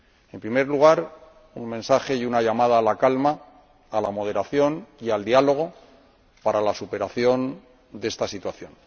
En primer lugar, un mensaje y una llamada a la calma, a la moderación y al diálogo para la superación de esta situación.